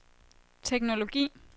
teknologi